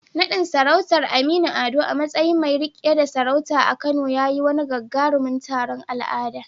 Naɗin sarautar Aminu Ado a matsayin mai riƙe da sarauta a Kano ya yi wani gagarumin taron al'adu.